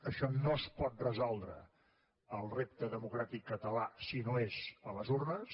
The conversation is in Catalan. això no es pot resoldre el repte democràtic català si no és a les urnes